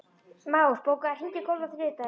Már, bókaðu hring í golf á þriðjudaginn.